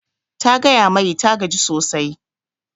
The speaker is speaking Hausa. Ta gaya mai ta gaji sosai